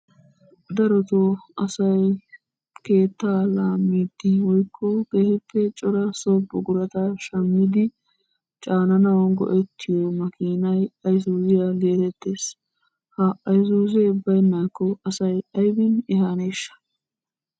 Darotoo asay keettaa laammiiddi woykko cora so buqurata shammidi caananaw go"ettiyo makinay Ayssuziyaa getettees. Ha ayssuziya baynnakko asa aybbin ehaneshsha?